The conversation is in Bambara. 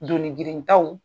Doni girin taw.